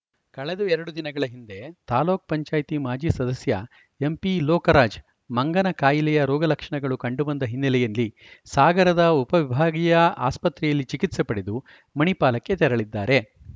ಕಳೆದ ಎರಡು ದಿನಗಳ ಹಿಂದೆ ತಾಲೂಕ್ ಪಂಚಾಯತ್ ಮಾಜಿ ಸದಸ್ಯ ಎಂಪಿಲೋಕರಾಜ್‌ ಮಂಗನಕಾಯಿಲೆಯ ರೋಗಲಕ್ಷಣಗಳು ಕಂಡುಬಂದ ಹಿನ್ನೆಲೆಯಲ್ಲಿ ಸಾಗರದ ಉಪವಿಭಾಗೀಯ ಆಸ್ಪತ್ರೆಯಲ್ಲಿ ಚಿಕಿತ್ಸೆ ಪಡೆದು ಮಣಿಪಾಲಕ್ಕೆ ತೆರಳಿದ್ದಾರೆ